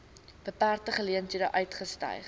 beperkte geleenthede uitgestyg